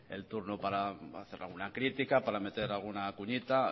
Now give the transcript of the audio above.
el turno para hacer alguna crítica para meter alguna puñita